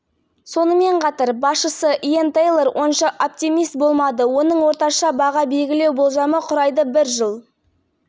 ресей банкінің сарапшылары оптимистердің қатарына кірмейді және келер жылдың бағасын төмендейді деп күтуде және де елеулі